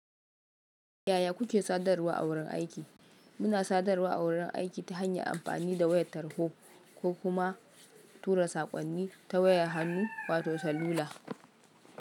Yaya kuke sadarwa a wurin aiki? Muna sadarwa a wurin aiki ta hanyar amfani da wayar tarho ko kuma tura saƙonni ta wayar hannu wato salula.